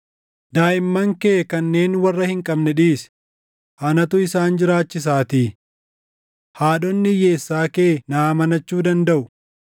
‘Daaʼimman kee kanneen warra hin qabne dhiisi; // anatu isaan jiraachisaatii. Haadhonni hiyyeessaa kee na amanachuu dandaʼu.’ ”